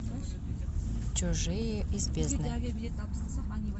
чужие из бездны